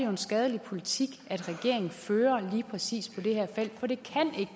en skadelig politik regeringen fører på lige præcis det her felt for det kan